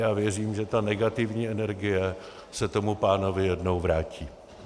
Já věřím, že ta negativní energie se tomu pánovi jednou vrátí.